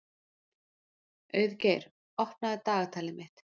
Auðgeir, opnaðu dagatalið mitt.